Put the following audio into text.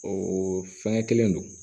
O fɛngɛ kelen don